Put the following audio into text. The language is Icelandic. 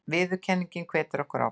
Viðurkenningin hvetur okkur áfram